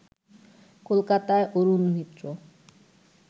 কলকাতায় অরুণ মিত্র